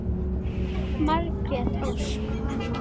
Margrét Ósk.